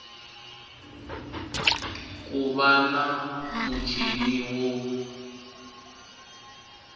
ku va na muchini wo